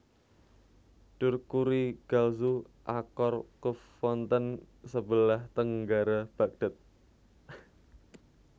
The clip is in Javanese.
Dur Kurigalzu Aqar Quf wonten sebelah tenggara Bagdad